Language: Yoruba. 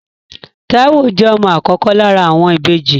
Táíwò jẹ́ ọmọ àkọ́kọ́ lára àwọn ìbejì